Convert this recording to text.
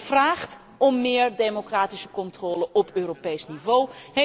Maar dat vraagt om meer democratische controle op Europees niveau.